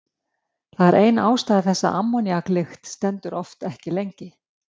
Það er ein ástæða þess að ammóníaklykt stendur oft ekki lengi.